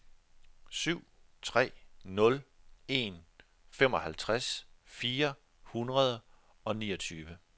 syv tre nul en femoghalvtreds fire hundrede og niogtyve